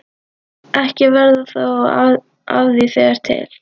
Ekki verður þó af því þegar til